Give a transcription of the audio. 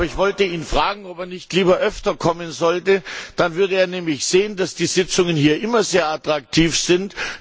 Ich wollte ihn fragen, ob er nicht lieber öfter kommen will, dann würde er nämlich sehen, dass die Sitzungen hier immer sehr attraktiv sind.